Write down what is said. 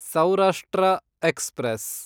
Saurashtra express